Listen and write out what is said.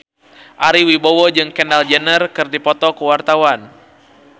Ari Wibowo jeung Kendall Jenner keur dipoto ku wartawan